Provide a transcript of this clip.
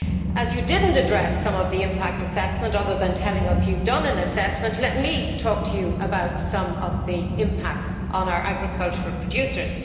As you did not address the impact assessment, other than telling us you have done an assessment, let me talk to you about some of the impacts on our agricultural producers.